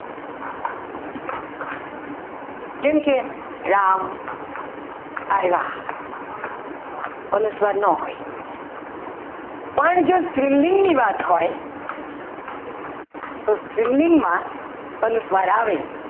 જેમ કે રામ આવ્યા અનુસ્વાર ન હોય પણ જો સ્ત્રીલિંગની વાત હોય તો સ્ત્રીલિંગમાં અનુસ્વાર આવે.